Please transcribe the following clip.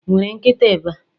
Ị nwere nkịta ebe?